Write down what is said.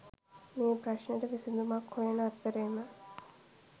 මේ ප්‍රශ්නෙට විසදුමක් හොයන අතරේම